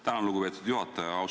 Tänan, lugupeetud juhataja!